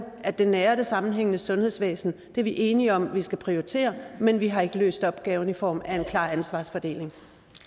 at det nære og det sammenhængende sundhedsvæsen er vi enige om vi skal prioritere men vi har ikke løst opgaven i form af en klar ansvarsfordeling